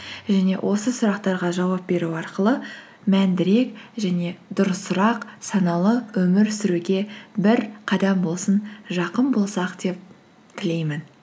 және осы сұрақтарға жауап беру арқылы мәндірек және дұрысырақ саналы өмір сүруге бір қадам болсын жақын болсақ деп тілеймін